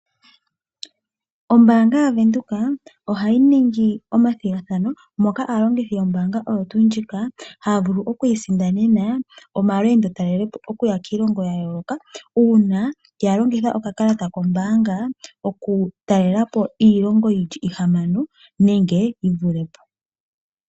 Ombanga yaVenduka ohayi ningi omathigathano moka aalongithi yombanga oyotu ndjika haya vulu oku isindanena omalwendotalelepo okuya kiilongo ya yoloka una yalongitha oka kalata kombanga oku talelapo iilongo yili ihamano nenge yi vulepo.